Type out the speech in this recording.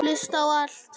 Hlusta á allt!!